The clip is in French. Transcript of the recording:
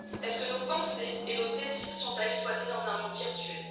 Est ce que nos pensées et nos désirs sont à exploiter dans un monde virtuel?